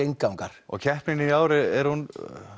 inngangar og keppnin í ár er hún